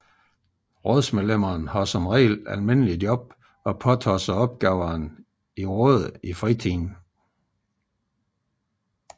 Rådsmedlemmene har som regel normale job og påtager sig opgaverne i rådet i fritiden